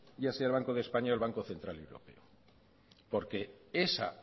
ya sea el banco de españa o el banco central de europa porque esa